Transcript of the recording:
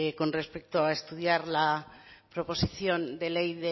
con respecto a estudiar la proposición de ley